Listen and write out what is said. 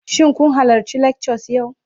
Shin kun halarci lectures yau?